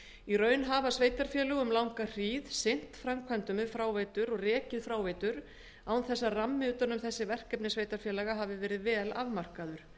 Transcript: í raun hafa sveitarfélög um langa hríð sinnt framkvæmdum við fráveitur og rekið fráveitur án þess að rammi utan um þessi verkefni sveitarfélaga hafi verið vel afmarkaður